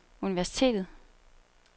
universitetet